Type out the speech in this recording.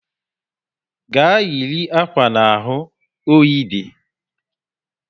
Gaa yiri akwa n'ahụ! oyi dị